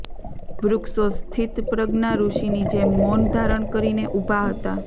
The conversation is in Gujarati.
વૃક્ષો સ્થિતપ્રજ્ઞા ઋષીની જેમ મૌન ધારણ કરીને ઊભા હતા